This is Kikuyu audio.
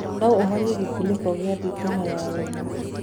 noũhorĩe gikuniko gia thitima ya wemo